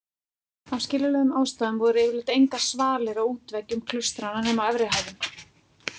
Af skiljanlegum ástæðum voru yfirleitt engar svalir á útveggjum klaustranna nema á efri hæðum.